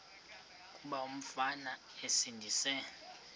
kuba umfana esindise